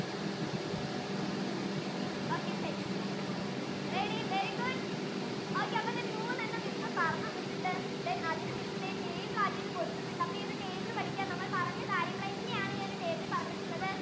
okay set ready very good okay അപ്പൊ ദേ മൂന്നെണ്ണം മിസ് പറഞ്ഞു തന്നിട്ടുണ്ട് then അതിനെ മിസ് ദേ table ആക്കി കൊടുത്തിട്ടുണ്ട് അപ്പൊ ഈ table പടിക്ക നമ്മൾ പറഞ്ഞ കാര്യങ്ങൾ തന്നെ ആണ് ഈ table യിൽ പറഞ്ഞിട്ടുള്ളത്